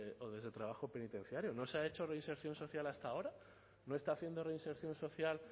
o desde trabajo penitenciario no se ha hecho reinserción social hasta ahora no está haciendo reinserción social